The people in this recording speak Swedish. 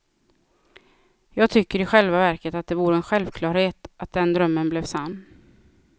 Jag tycker i själva verket att det vore en självklarhet att den drömmen blev sann.